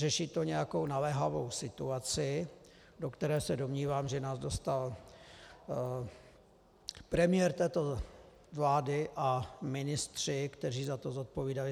Řeší to nějakou naléhavou situaci, do které se domnívám, že nás dostal premiér této vlády a ministři, kteří za to zodpovídali.